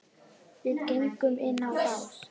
Við göngum inn á bás